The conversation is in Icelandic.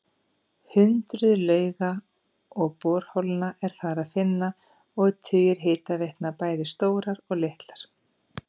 Hundruð lauga og borholna er þar að finna og tugir hitaveitna, bæði stórar og litlar.